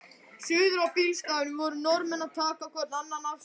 Suður á bílastæðinu voru Norðmenn að taka hvorn annan afsíðis.